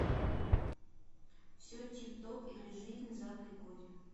все тип топ или жизнь зака и коди